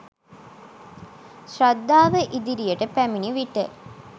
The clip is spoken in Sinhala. ශ්‍රද්ධාව ඉදිරියට පැමිණි විට